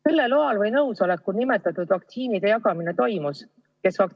Kelle loal või nõusolekul vaktsiinide jagamine toimus?